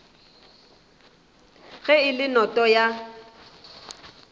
ge e le noto ya